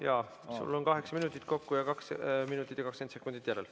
Jaa, sul on kaheksa minutit kokku, sellest kaks minutit ja 20 sekundit järel.